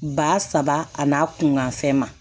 Ba saba ani a kun gan fɛn ma